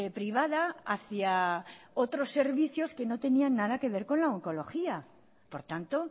privada hacia otros servicios que no tenían nada que ver con la oncología por tanto